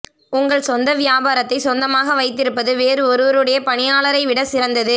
உங்கள் சொந்த வியாபாரத்தை சொந்தமாக வைத்திருப்பது வேறு ஒருவருடைய பணியாளரை விட சிறந்தது